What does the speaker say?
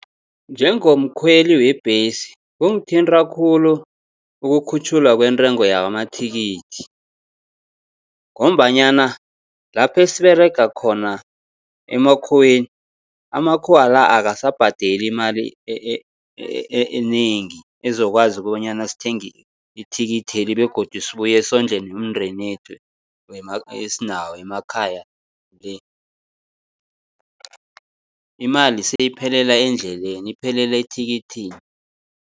Njengomkhweli webhesi kungithinta khulu ukukhutjhulwa kwentengo yamathikithi, ngombanyana lapho esiberega khona emakhuweni, amakhuwa la akasabhadeli imali enengi ezokwazi ukobanyana sithenge ithikitheli begodu sibuye sondle nemindeni yethu esinawo emakhaya le. Imali seyiphelela endleleni, iphelela ethikithini.